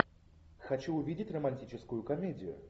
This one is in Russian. хочу увидеть романтическую комедию